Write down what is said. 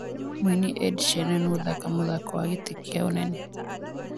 Mũini Ed Sheraan gũthaka Game of Thrones.